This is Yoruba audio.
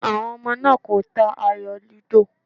Àwọn ọmọ náà kò ta ayò lúdò.